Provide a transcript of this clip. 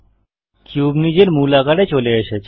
cube নিজের মূল আকারে চলে এসেছে